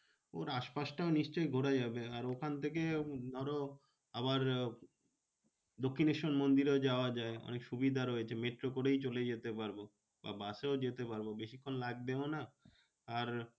ওর আস পাশটাও নিশ্চই ঘোড়া যাবে আর ওখান থেকে ধরো আবার দক্ষিনেশ্বর মন্দিরও যাওয়া যায় অনেক সুবিধা রয়েছে। মেট্রো করেই চলে যেতে পারবো বা বাসেও যেতে পারবো বেশিক্ষন লাগবেও না। আর